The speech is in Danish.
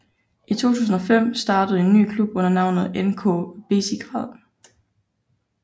I 2005 startede en ny klub under navnet NK Bezigrad